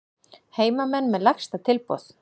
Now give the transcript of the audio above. Heimamenn með lægsta tilboð